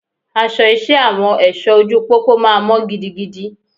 Aṣọ iṣẹ́ Àwọn èṣọ ojú pópó máa mọ́ gidigidi.